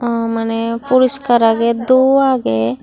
aw mane puriskar aage duo agey.